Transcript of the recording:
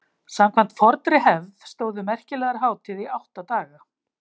Samkvæmt fornri hefð stóðu merkilegar hátíðir í átta daga.